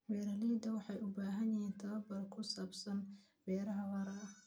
Beeraleydu waxay u baahan yihiin tababar ku saabsan beeraha waara.